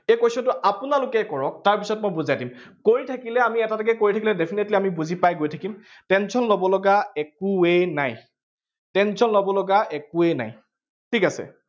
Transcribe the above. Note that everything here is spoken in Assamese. এই question টো আপোনালোকে কৰক, তাৰপিছত মই বুজাই দিম। কৰি থাকিলে, আমি এটা এটাকে কৰি থাকিলে definitely আমি বুজি পাই গৈ থাকিম, tension লবলগা একোৱেই নাই, tension লব লগা একোৱেই নাই। ঠিক আছে।